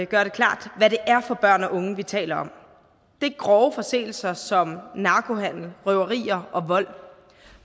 gøre klart hvad det er for børn og unge vi taler om det er grove forseelser som narkohandel røverier og vold